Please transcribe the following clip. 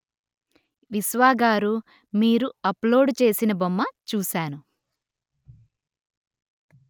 విశ్వా గారు మీరు అప్లోడ్ చేసిన బొమ్మ చూసాను